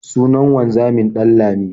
Sunan wanzamin Ɗanlami.